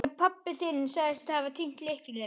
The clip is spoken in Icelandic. Já, en pabbi þinn sagðist hafa týnt lyklinum.